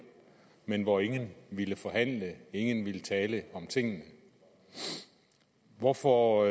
men hvor ingen ville forhandle og ingen ville tale om tingene hvorfor